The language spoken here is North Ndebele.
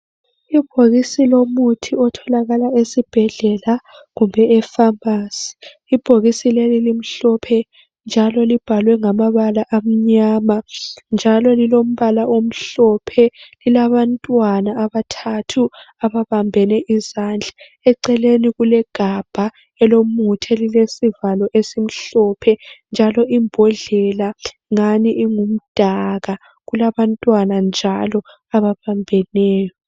Ibhokisi lomuthi otholakala esibhedlela kumbe efamasi. Ibhokisi leli limhlophe njalo libhalwe ngamabala amnyama njalo lilombala omhlophe lilabantwana abathathu ababambene izandla. Eceleni kulegabha elomuthi elilesivalo esimhlophe njalo imbodlela ngani ingumdaka kulabantwana njalo ababambeneyo.